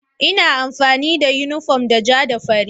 Ina amfani da yunifom ja da fari.